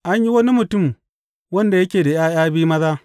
An yi wani mutum wanda yake da ’ya’ya biyu maza.